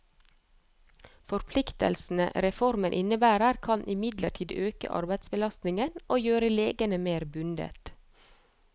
Forpliktelsene reformen innebærer, kan imidlertid øke arbeidsbelastningen og gjøre legene mer bundet.